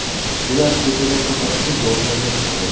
Ular ko‘chaga faqat kun botganda chiqadi.